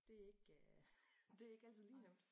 Det ikke det ikke altid lige nemt